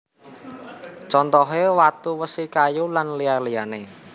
Contohe watu wesi kayu lan liya liyane